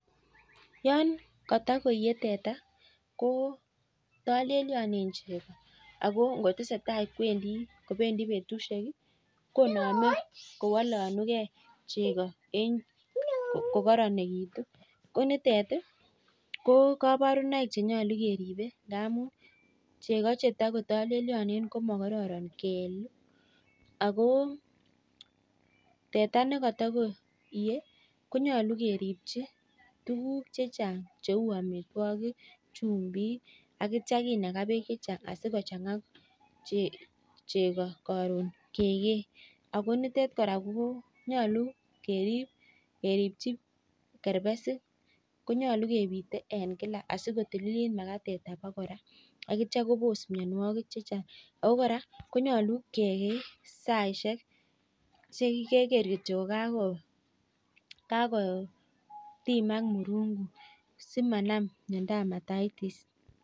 Talelio cheko yaiyee ako yatesetai kowalakse kolelakituu ako keribee ak chumik akeribchii kerbesik akekee sait ne kakotimak murungut